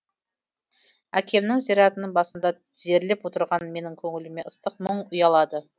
әкемнің зиратының басында тізерлеп отырған менің көңіліме ыстық мұң ұялады